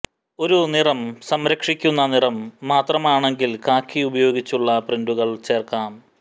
ഒരു നിറം സംരക്ഷിക്കുന്ന നിറം മാത്രമാണെങ്കിൽ കാക്കി ഉപയോഗിച്ചുള്ള പ്രിന്റുകൾ ചേർക്കാം